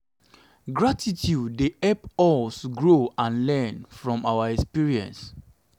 gratitude dey help us grow and learn from our experiences.